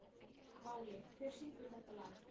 Váli, hver syngur þetta lag?